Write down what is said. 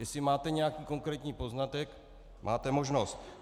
Jestli máte nějaký konkrétní poznatek, máte možnost.